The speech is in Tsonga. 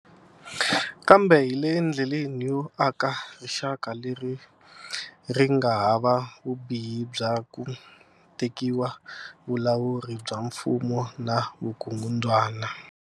Kambe hi le ndleleni yo aka rixaka leri ri nga hava vubihi bya ku tekiwa vulawuri bya mfumo na vukungundzwana.